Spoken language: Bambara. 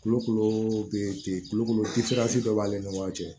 Kulokolo bɛ ten kulo kolo dɔ b'ale ni ɲɔgɔn cɛ